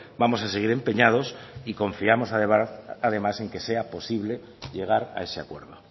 vamos a seguir empeñados y confiamos además en que sea posible llegar a ese acuerdo